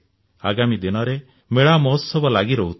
ଆଗାମୀ ଦିନରେ ମେଳା ମହୋତ୍ସବ ଲାଗି ରହୁଥିବ